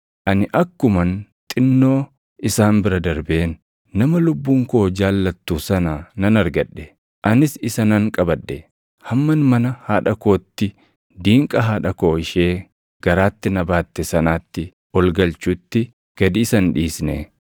Ani akkuman xinnoo isaan bira darbeen, nama lubbuun koo jaallattu sana nan argadhe. Anis isa nan qabadhe; hamman mana haadha kootti, diinqa haadha koo ishee garaatti na baatte sanaatti ol galchutti gad isa hin dhiisne.